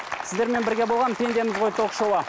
сіздермен бірге болған пендеміз ғой ток шоуы